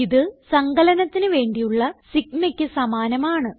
ഇത് സങ്കലനത്തിന് വേണ്ടിയുള്ള sigmaക്ക് സമാനമാണ്